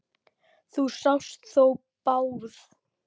Þú sást þó Bárð?